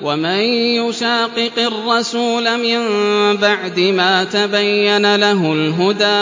وَمَن يُشَاقِقِ الرَّسُولَ مِن بَعْدِ مَا تَبَيَّنَ لَهُ الْهُدَىٰ